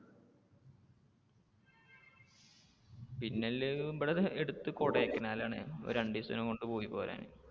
പിന്നെ ഉള്ളത് ഇവിടെ അടുത്ത് കൊടൈക്കനാൽ ആണ് ഒരു രണ്ടു ദിവസം കൊണ്ട് പോയി പോരാൻ.